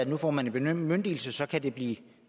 nu får man en bemyndigelse og så kan det blive